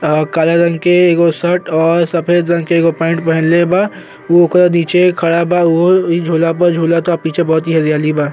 और काला रंग के एगो शर्ट और एगो सफ़ेद रंग के एगो पैंट पहिनले बा। वोकर नीचे खड़ा बा उहो वही झूला पर झूलता। पीछे बहुत हरियाली बा।